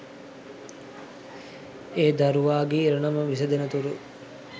ඒ දරුවාගේ ඉරණම විසඳෙනතුරු